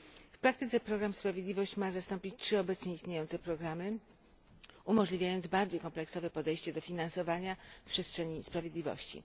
W praktyce program Sprawiedliwość ma zastąpić 3 obecnie istniejące programy, umożliwiając bardziej kompleksowe podejście do finansowania przestrzeni sprawiedliwości.